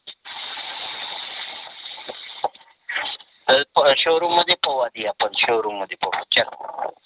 कल्प शोरूम मध्ये पाहू आधी आपण, शोरूम मधी पाहू चल.